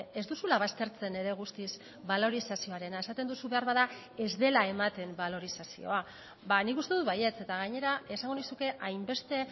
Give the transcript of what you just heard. ez duzula baztertzen ere guztiz balorizazioarena esaten duzu beharbada ez dela ematen balorizazioa nik uste dut baietz eta gainera esango nizuke hainbeste